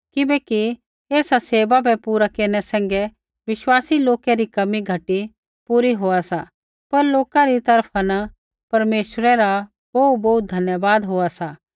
किबैकि ऐसा सेवा बै पूरा केरनै सैंघै विश्वासी लोकै री कमी घटी पूरी होआ सी पर लोका री तरफा न परमेश्वरै रा बोहूबोहू धन्यवाद होआ सा